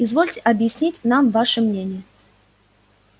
извольте объяснить нам ваше мнение